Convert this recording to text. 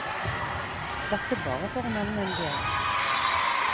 Dette bare for å nevne en del.